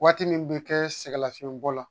Waati min bɛ kɛ sɛgɛnlafiɲɛbɔ la